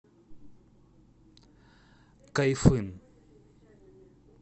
кайфын